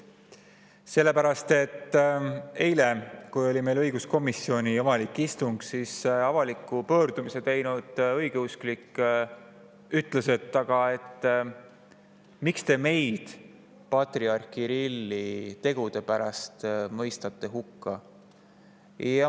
Sellepärast et eile, kui oli õiguskomisjoni avalik istung, küsis avaliku pöördumise teinud õigeusklik, miks te patriarh Kirilli tegude pärast meid hukka mõistate.